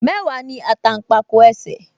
Mẹ́wàá ní àtàǹpàkò ẹsẹ̀